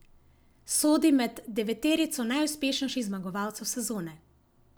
Sodi med deveterico najuspešnejših zmagovalcev sezone.